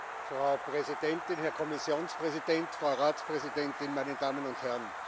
Frau Präsidentin, Herr Kommissionspräsident, Frau Ratspräsidentin, meine Damen und Herren!